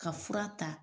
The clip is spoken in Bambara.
Ka fura ta